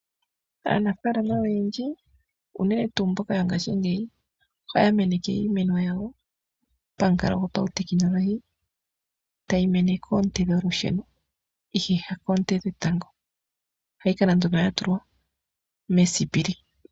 Aanafaalama oyendji unene tuu mboka yongaashingeyi, ohaya meneke iimeno yawo pamuka go pautekinolohi, tayi mene koonte dholusheno ihe ha koonte dhetango. Ohayi kala nduno ya tulwa mesipili.